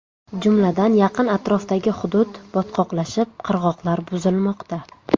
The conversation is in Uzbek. Jumladan, yaqin atrofdagi hudud botqoqlashib, qirg‘oqlar buzilmoqda.